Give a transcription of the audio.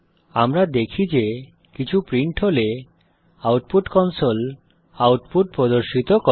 আমরা দেখি যে কিছু প্রিন্ট হলে আউটপুট কনসোল আউটপুট প্রদর্শিত করে